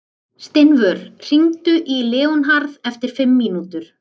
Steinvör, hringdu í Leónharð eftir fimm mínútur.